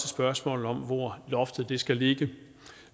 spørgsmål om hvor loftet skal ligge